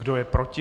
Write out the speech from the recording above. Kdo je proti?